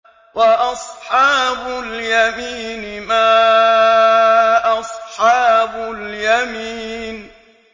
وَأَصْحَابُ الْيَمِينِ مَا أَصْحَابُ الْيَمِينِ